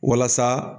Walasa